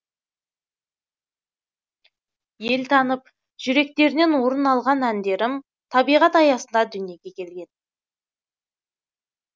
ел танып жүректерінен орын алған әндерім табиғат аясында дүниеге келген